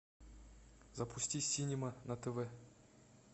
запусти синема на тв